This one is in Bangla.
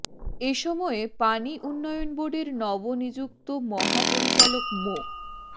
এ সময় পানি উন্নয়ন বোর্ডের নব নিযুক্ত মহাপরিচালক মো